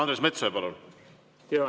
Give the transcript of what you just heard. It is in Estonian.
Andres Metsoja, palun!